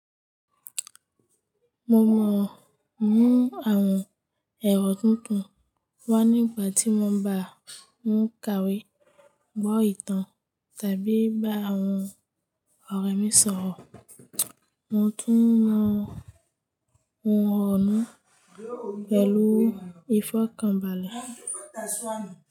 Mo mọ̀ mú àwọn èrò tuntun wá nígbà tí mò ń bá ń kàwé, gbọ́ ìtàn tàbí bá àwọn ọ̀rẹ́ mi sọ̀rọ̀. Mo tún mọ ohun ọ̀ọ̀nú pẹ̀lú ìfọ̀kànbalẹ̀